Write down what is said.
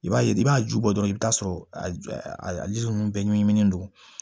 I b'a ye i b'a ju bɔ dɔrɔn i bi t'a sɔrɔ a a ji nunnu bɛɛ ɲinɛnen don